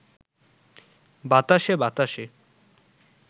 বাতাসে বাতাসে